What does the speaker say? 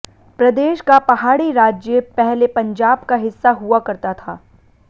प्रदेश का पहाड़ी राज्य पहले पंजाब का हिस्सा हुआ करता था